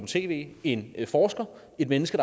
tv en forsker et menneske